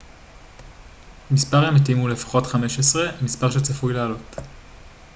מספר המתים הוא לפחות 15 מספר שצפוי לעלות